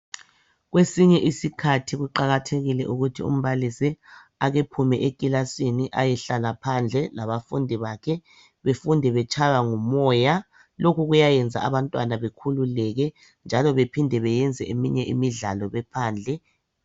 Kwesinye isikhathi kuqakathekile ukuthi umbalisi akephume ekilasini ayehlala phandle labafundi bakhe befunde betshaywa ngumoya .Lokhu kuyayenza abantwana bekhululeke njalo bephinde beyenze eminye imidlalo bephandle .